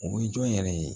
O ye jɔn yɛrɛ ye